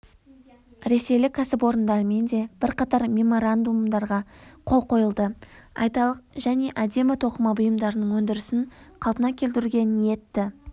ресейлік кәсіпорындармен де бірқатар меморандумдарға қол қойылды айталық және әдемі тоқыма бұйымдарының өндірісін қалпына келтіруге ниетті